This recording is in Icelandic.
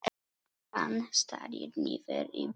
Hann starir niður í borðið.